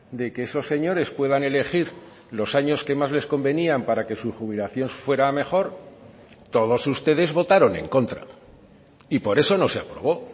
de que esos señores puedan elegir los años que más les convenían para que su jubilación fuera a mejor todos ustedes votaron en contra y por eso no se aprobó